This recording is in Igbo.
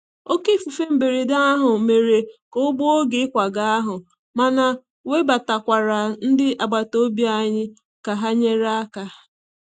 Oké ifufe mberede ahụ mere ka ọ gbuo oge ịkwaga ahụ, mana webatakwara ndị agbata obi anyị ka ha nyere aka.